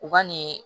U ka nin